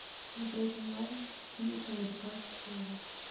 смотреть онлайн фильм американский пирог